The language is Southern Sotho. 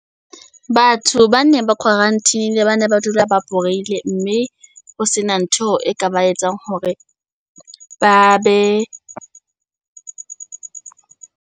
Batho ba neng ba quarantine-ile bane ba dula ba borehole, mme ho sena ntho e ka ba etsang hore ba be.